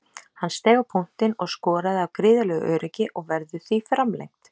Hann steig á punktinn og skoraði af gríðarlegu öryggi og verður því framlengt.